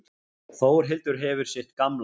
Þórhildur hefur sitt gamla.